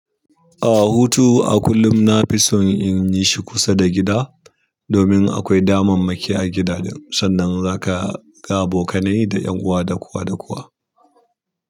A'a, hutu a kullum na fi son in yi shi kusa da gida, domin akwai damammaki a gida ɗin sannan za ka ga abokanai da ƴan uwa da kowa ɗa kowa.